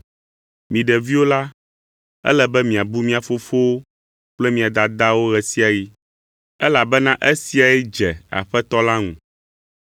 Mi ɖeviwo la, ele be miabu mia fofowo kple mia dadawo ɣe sia ɣi, elabena esiae dze Aƒetɔ la ŋu.